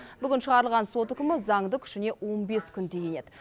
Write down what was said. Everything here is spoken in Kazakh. бүгін шығарылған сот үкімі заңды күшіне он бес күнде енеді